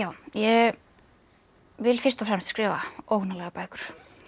ég vil fyrst og fremst skrifa óhugnanlegar bækur